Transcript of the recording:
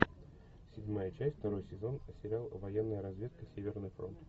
седьмая часть второй сезон сериал военная разведка северный фронт